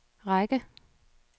række